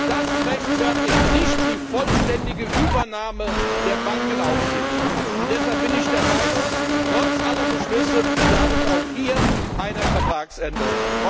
Das rechtfertigt nicht die vollständige Übernahme der Bankenaufsicht. Und deshalb bin ich der Meinung, trotz aller Beschlüsse bedarf es auch hier einer Vertragsänderung.